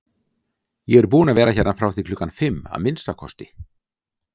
Ég er búinn að vera hérna frá því klukkan fimm, að minnsta kosti